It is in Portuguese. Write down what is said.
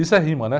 Isso é rima, né?